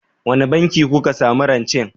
Wanne banki kuka samu rancen?